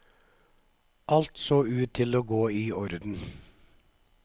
Alt så ut til å gå i orden.